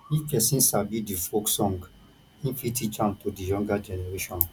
if perosn sabi di folk song im fit teach am to di younger generation